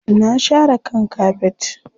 Na share kan kafet.